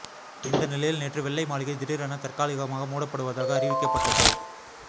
இந்த நிலையில் நேற்று வெள்ளை மாளிகை திடீரென தற்காலிகமாக மூடப்படுவதாக அறிவிக்கப்பட்டது